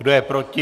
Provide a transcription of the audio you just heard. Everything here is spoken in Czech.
Kdo je proti?